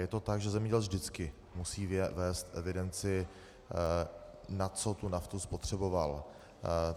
Je to tak, že zemědělec vždycky musí vést evidenci, na co tu naftu spotřeboval.